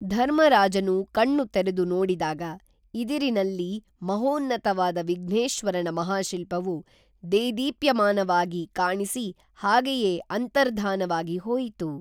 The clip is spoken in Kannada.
ಧರ್ಮರಾಜನು ಕಣ್ಣು ತೆರೆದು ನೋಡಿದಾಗ ಇದಿರಿನಲ್ಲಿ ಮಹೋನ್ನತವಾದ ವಿಘ್ನೇಶ್ವರನ ಮಹಾಶಿಲ್ಪವು ದೇದೀಪ್ಯಮಾನವಾಗಿ ಕಾಣಿಸಿ ಹಾಗೇಯೇ ಅಂತರ್ಧಾನವಾಗಿ ಹೋಯಿತು